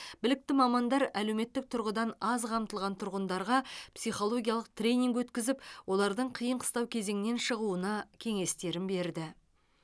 білікті мамандар әлеуметтік тұрғыдан аз қамтылған тұрғындарға психологиялық тренинг өткізіп олардың қиын қыстау кезеңнен шығуына кеңестерін берді